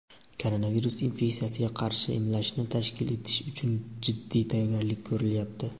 koronavirus infeksiyasiga qarshi emlashni tashkil etish uchun jiddiy tayyorgarlik ko‘rilyapti.